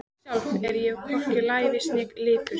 Sjálf er ég hvorki lævís né lipur.